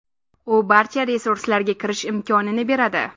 U barcha resurslarga kirish imkonini beradi.